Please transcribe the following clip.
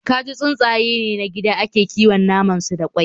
Kaji tsuntsaye ne na gida da ake kiwon naman su da kwai